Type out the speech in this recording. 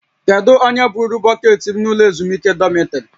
Kedu onye buuru bọkeetị m n'ụlọ ezumike dọmịtrị?